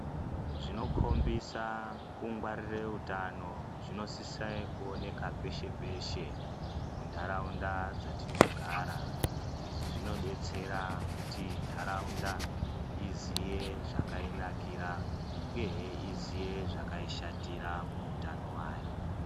Zvinokombisa kungwaririre utano zvinosisa kuoneka peshe-peshe muntaraunda dzatinogara. Izvi zvinobetsera kuti ntaraunda iziye zvakainakira uyehe izviye zvakaishatira muutano hwayo.